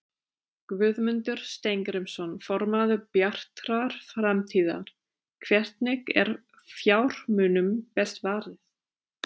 Guðmundur Steingrímsson, formaður Bjartrar framtíðar: Hvernig er fjármunum best varið?